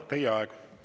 Teie aeg!